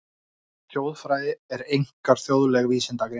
Þjóðfræði er einkar þjóðleg vísindagrein.